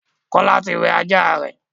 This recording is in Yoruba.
Kola tí wẹ ajá rẹ.